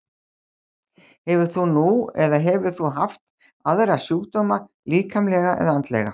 Hefur þú nú eða hefur þú haft aðra sjúkdóma, líkamlega eða andlega?